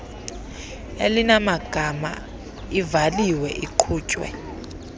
elinamagama ivaliwe iqhutywe